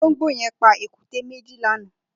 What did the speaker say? Ólóngbó yẹn pà ékùté méji lànã